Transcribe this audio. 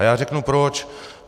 A já řeknu proč.